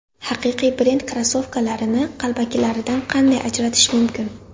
Haqiqiy brend krossovkalarini qalbakilaridan qanday ajratish mumkin?.